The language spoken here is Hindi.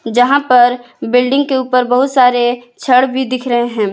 जहां पर बिल्डिंग के ऊपर बहुत सारे छड़ भी दिख रहे हैं।